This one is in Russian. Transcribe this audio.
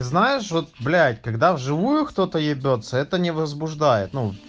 знаешь вот блять когда в живую кто-то ебётся это не возбуждает ну